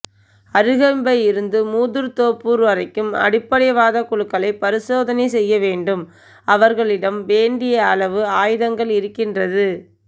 அறுகம்பை இருந்து மூதூர் தோப்பூர் வரைக்கும் அடிப்படை வாத குழுக்களை பரிசோதனை செய்யவேண்டும் அவர்களிடம் வேண்டியளவு ஆயுதங்கள் இருக்கின்றது